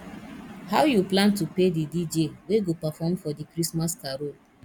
how you plan to pay the dj wey go perform for di christmas carol